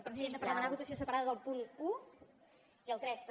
presidenta per demanar votació separada del punt un i el tres també